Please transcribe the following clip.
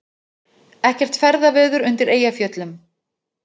Ekkert ferðaveður undir Eyjafjöllum